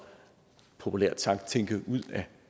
populært sagt tænke ud af